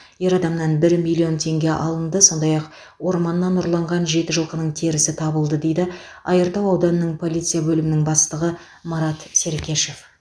ер адамнан бір миллион теңге алынды сондай ақ орманнан ұрланған жеті жылқының терісі табылды дейді айыртау ауданының полиция бөлімінің бастығы марат серкешев